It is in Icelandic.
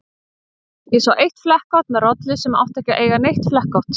Ég sá eitt flekkótt með rollu sem átti ekki að eiga neitt flekkótt.